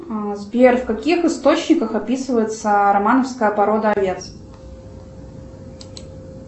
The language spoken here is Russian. сбер в каких источниках описывается романовская порода овец